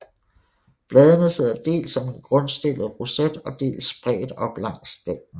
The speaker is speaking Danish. Bladene sidder dels som en grundstillet roset og dels spredt op langs stænglerne